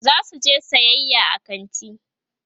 zasu je sayayya a kanti